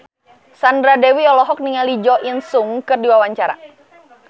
Sandra Dewi olohok ningali Jo In Sung keur diwawancara